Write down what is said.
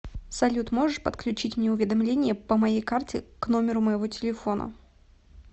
салют можешь подключить мне уведомления по моей карте к номеру моего телефона